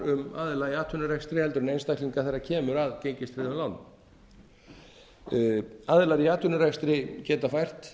um aðila í atvinnurekstri heldur en einstaklinga þegar kemur að gengistryggðum lánum aðilar í atvinnurekstri geta fært